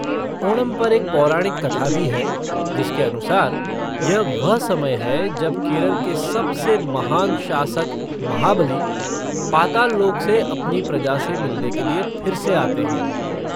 ओणम पर एक पौराणिक कथा भी है, जिसके अनुसार, यह वह समय है जब केरल के सबसे महान शासक महाबली, पाताललोक से अपनी प्रजा से मिलने के लिए फिर से आते हैं।